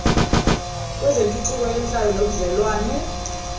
kwezentuthuko yenhlalo nobudlelwnane